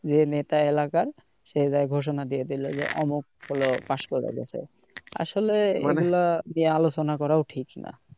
যে নেতা এলাকার সে ঘোষনা দিয়ে দিলো অমন হলো pass করে দিছে আসলে এগুলা নিয়ে আলোচনা করা ঠিক না